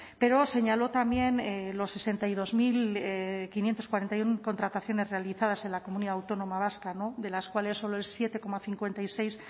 pero señaló también las sesenta y dos mil quinientos cuarenta y uno contrataciones realizadas en la comunidad autónoma vasca de las cuales solo el siete coma cincuenta y seis